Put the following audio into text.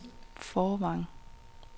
Fårvang